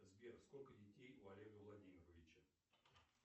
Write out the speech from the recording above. сбер сколько детей у олега владимировича